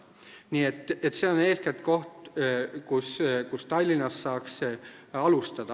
Nii et see on eeskätt koht, kust Tallinnas saaks alustada.